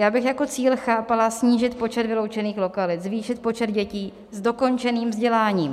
Já bych jako cíl chápala snížit počet vyloučených lokalit, zvýšit počet dětí s dokončeným vzděláním.